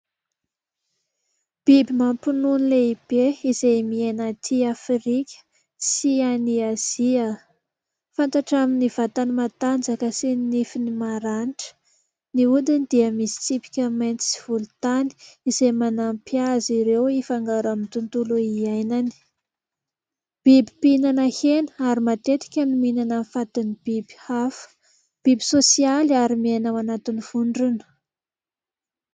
Biby mampinono lehibe izay miaina aty Afrika sy any Azia ; fantatra amin'ny vatany matanjaka sy ny nifiny maranitra, ny hodiny dia misy tsipika mainty sy volontany izay manampy azy ireo hifangaro amin'ny tontolo hiainany. Biby mpihinana hena ary matetika mihinana fatin'ny biby hafa. Biby sosialy ary miaina ao anatin'ny vondrona.